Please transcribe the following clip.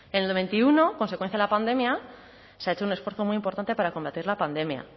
en el veintiuno consecuencia de la pandemia se ha hecho un esfuerzo muy importante para combatir la pandemia